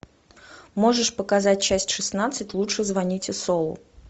можешь показать часть шестнадцать лучше звоните солу